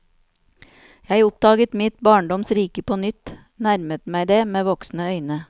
Jeg oppdaget mitt barndoms rike på nytt, nærmet meg det med voksne øyne.